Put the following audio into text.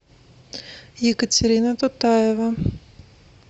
екатерина тутаева